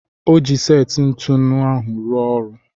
Ọ ji seti ntụnụ ahụ ruo ọrụ.